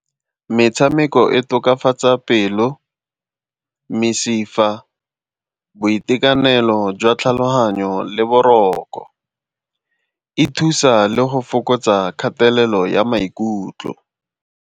Metshameko e tokafatsa pelo, mesifa, boitekanelo jwa tlhaloganyo le boroko. E thusa le go fokotsa kgatelelo ya maikutlo.